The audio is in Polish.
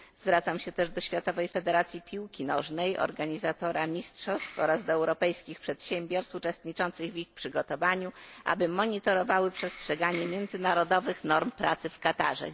Zwracam się też do Światowej Federacji Piłki Nożnej, organizatora mistrzostw, oraz do europejskich przedsiębiorstw uczestniczących w ich przygotowaniu, aby monitorowały przestrzeganie międzynarodowych norm pracy w Katarze.